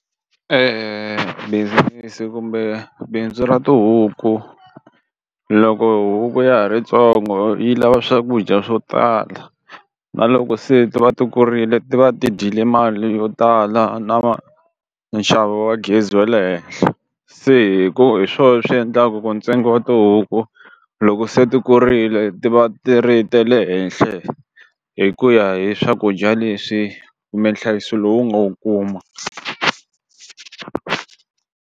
E business kumbe bindzu ra tihuku loko huku ya ha ri ntsongo yi lava swakudya swo tala na loko se ti va ti kurile ti va ti dyile mali yo tala na nxavo wa gezi wa le henhla se hi ku hi swona swi endlaka ku ntsengo wa tihuku loko se ti kurile ti va ti ri ta le henhla hi ku ya hi swakudya leswi kumbe nhlayiso lowu nga wu kuma.